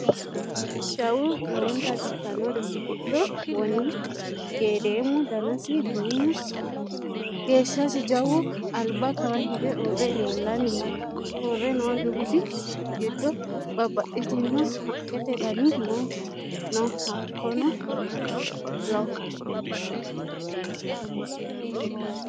Jawu lowontanni biifanno dubbi giddo wonGeedimu danasi duumu geeshshasi jawu alba kawa hige uurre leellanni no: Uurre noo dubbi giddo babbaxxitino haqqete dani no Hakkuno lo